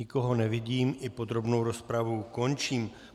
Nikoho nevidím, i podrobnou rozpravu končím.